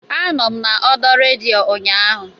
Anọ m n'ọdọ redio ụnyaahụ